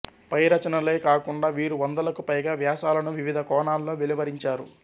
పై రచనలే కాకుండా వీరు వందలకు పైగా వ్యాసాలను వివిధ కోణాల్లో వెలువరించారు